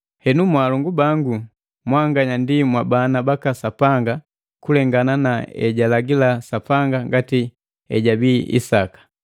Henu, mwaalongu bangu, mwanganya ndi mwabana baka Sapanga kulengana na ejalagila Sapanga ngati ejabii Isaka.